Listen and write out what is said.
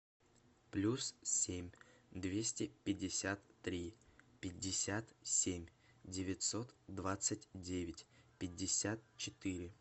плюс семь двести пятьдесят три пятьдесят семь девятьсот двадцать девять пятьдесят четыре